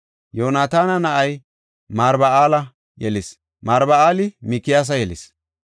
Yoonataana na7ay Marba7aala yelis; Marba7aali Mikiyaasa yelis.